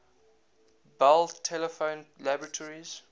bell telephone laboratories